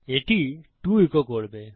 এটি 2 ইকো করবে